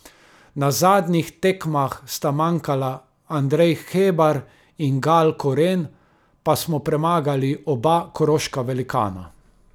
Na zadnjih tekmah sta manjkala Andrej Hebar in Gal Koren, pa smo premagali oba koroška velikana.